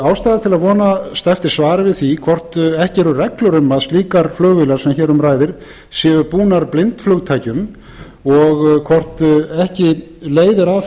ástæða til að vonast eftir svari við því hvort ekki eru reglur um að slíkar flugvélar sem hér um ræðir séu búnar blindflugstækjum og hvort ekki leiðir